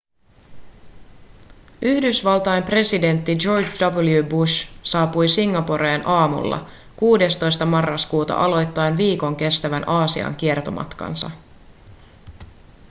yhdysvaltain presidentti george w bush saapui singaporeen aamulla 16 marraskuuta aloittaen viikon kestävän aasian kiertomatkansa